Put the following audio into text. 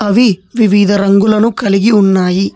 అవి వివిధ రంగులను కలిగి ఉన్నాయి.